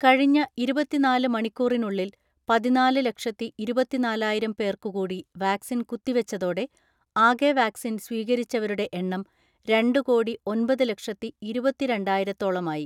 കഴിഞ്ഞ ഇരുപത്തിനാല് മണിക്കൂറിനുള്ളിൽ പതിനാല് ലക്ഷത്തിഇരുപത്തിനാലായിരം പേർക്കു കൂടി വാക്സിൻ കുത്തിവച്ചതോടെ ആകെ വാക്സിൻ സ്വീകരിച്ചവരുടെ എണ്ണം രണ്ടു കോടി ഒൻപത് ലക്ഷത്തി ഇരുപത്തിരണ്ടായിരത്തോളമായി.